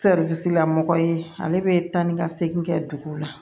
la mɔgɔ ye ale bɛ taa ni ka segin kɛ dugu la